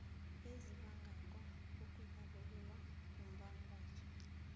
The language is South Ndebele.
ezibangako ukurarulula umbangwazo